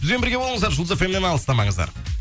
бізбен бірге болыңыздар жұлдыз эф эм нен алыстамаңыздар